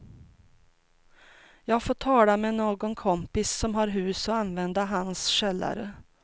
Jag får tala med någon kompis som har hus och använda hans källare.